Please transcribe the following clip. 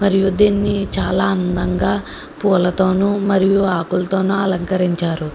మరియు దీన్ని చాలా అందంగా పూలతోను మరియు ఆకులతోను అలంకరించారు.